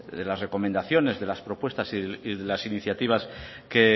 de las recomendaciones de las propuestas y de las iniciativas